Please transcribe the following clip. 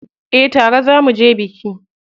Eh tare za muje biki.